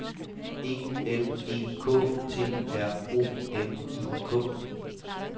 E L E K T R O N I K -